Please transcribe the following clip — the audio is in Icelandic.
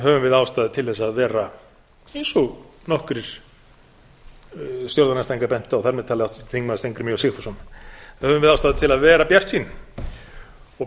höfum við ástæðu til þess að vera eins og nokkrir stjórnarandstæðingar bentu á þar með talið háttvirtur þingmaður steingrímur j sigfússon höfum við ástæðu til að vera bjartsýn og